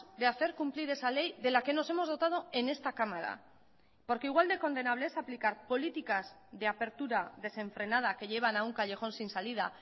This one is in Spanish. de hacer cumplir esa ley de la que nos hemos dotado en esta cámara porque igual de condenable es aplicar políticas de apertura desenfrenada que llevan a un callejón sin salida